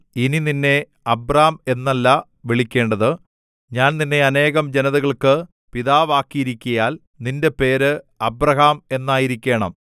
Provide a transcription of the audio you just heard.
ഇനി നിന്നെ അബ്രാം എന്നല്ല വിളിക്കേണ്ടത് ഞാൻ നിന്നെ അനേകം ജനതകൾക്ക് പിതാവാക്കിയിരിക്കയാൽ നിന്റെ പേര് അബ്രാഹാം എന്നായിരിക്കേണം